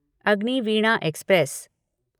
Agniveena express